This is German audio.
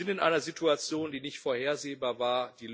Wir sind in einer Situation, die nicht vorhersehbar war.